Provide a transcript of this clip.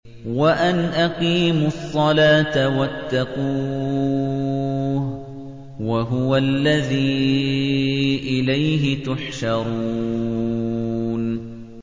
وَأَنْ أَقِيمُوا الصَّلَاةَ وَاتَّقُوهُ ۚ وَهُوَ الَّذِي إِلَيْهِ تُحْشَرُونَ